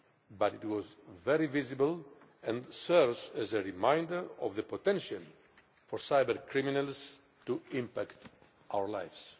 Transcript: but it was very visible and serves as a reminder of the potential for cybercriminals to impact our lives.